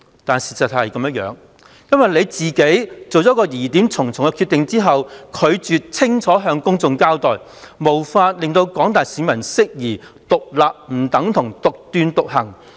不過，實情卻是，由於她作出了這個疑點重重的決定，又拒絕向公眾清楚交代，因而無法令廣大市民釋除對"獨立不等於獨斷獨行"的疑慮。